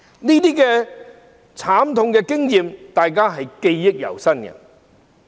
這些慘痛經驗大家也是記憶猶新的。